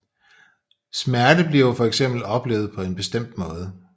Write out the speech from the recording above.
Smerte bliver for eksempel oplevet på en bestemt måde